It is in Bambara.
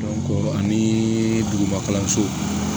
ani duguba kalanso